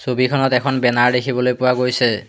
ছবিখনত এখন বেনাৰ দেখিবলৈ পোৱা গৈছে।